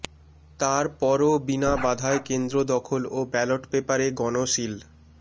তার পরও বিনা বাধায় কেন্দ্র দখল ও ব্যালট পেপারে গণসিল